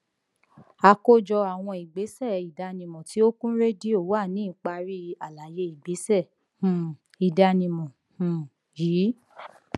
àkójọ àwọn ìgbésẹ ìdánimọ tí ó kún rédíò wà ní ìparí àlàyé ìgbésẹ um ìdánimọ um yìí